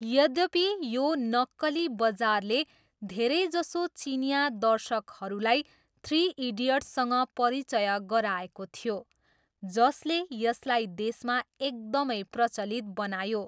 यद्यपि, यो नक्कली बजारले धेरैजसो चिनियाँ दर्शकहरूलाई थ्री इडियट्ससँग परिचय गराएको थियो, जसले यसलाई देशमा एकदमै प्रचलित बनायो।